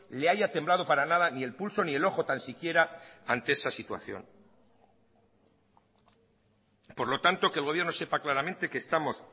le haya temblado para nada ni el pulso ni el ojo tan siquiera ante esa situación por lo tanto que el gobierno sepa claramente que estamos